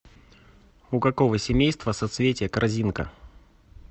у какого семейства соцветие корзинка